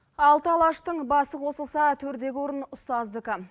алты алаштың басы қосылса төрдегі орын ұстаздікі